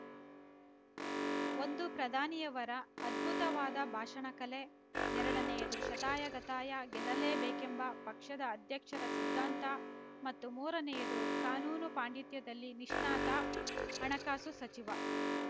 ಒಂದು ಪ್ರಧಾನಿಯವರ ಅದ್ಭುತವಾದ ಭಾಷಣ ಕಲೆ ಎರಡನೆಯದು ಶತಾಯಗತಾಯ ಗೆಲ್ಲಲೇಬೇಕೆಂಬ ಪಕ್ಷದ ಅಧ್ಯಕ್ಷರ ಸಿದ್ಧಾಂತ ಮತ್ತು ಮೂರನೆಯದು ಕಾನೂನು ಪಾಂಡಿತ್ಯದಲ್ಲಿ ನಿಷ್ಣಾತ ಹಣಕಾಸು ಸಚಿವ